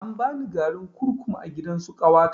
An bani garin kurkum a gidansu ƙawata